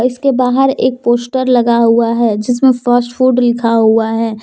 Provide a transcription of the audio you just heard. इसके बाहर एक पोस्टर लगा हुआ है जिसमें फास्ट फूड लिखा हुआ है।